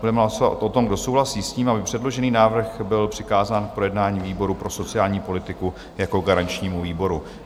Budeme hlasovat o tom, kdo souhlasí s tím, aby předložený návrh byl přikázán k projednání výboru pro sociální politiku jako garančnímu výboru.